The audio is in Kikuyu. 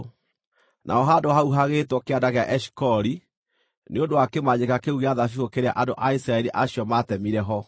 Naho handũ hau hagĩĩtwo Kĩanda gĩa Eshikoli nĩ ũndũ wa kĩmanjĩka kĩu gĩa thabibũ kĩrĩa andũ a Isiraeli acio maatemire ho.